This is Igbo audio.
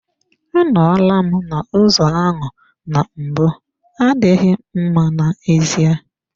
Anọla m n'ụzọ ahụ na mbụ adịghị mma n'ezie.